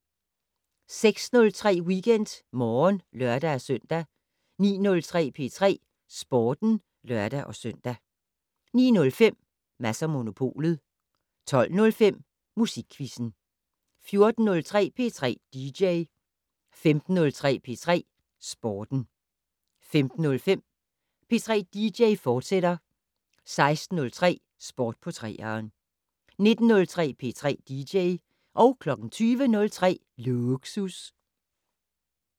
06:03: WeekendMorgen (lør-søn) 09:03: P3 Sporten (lør-søn) 09:05: Mads & Monopolet 12:05: Musikquizzen 14:03: P3 dj 15:03: P3 Sporten 15:05: P3 dj, fortsat 16:03: Sport på 3'eren 19:03: P3 dj 20:03: Lågsus